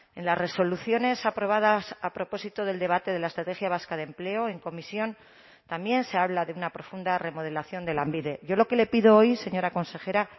en las resoluciones aprobadas a propósito del debate de la estrategia vasca de empleo en comisión también se habla de una profunda remodelación de lanbide yo lo que le pido hoy señora consejera